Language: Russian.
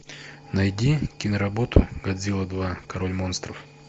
найди киноработу годзилла два король монстров